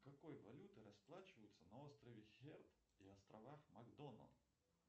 какой валютой расплачиваются на острове херд и островах макдональд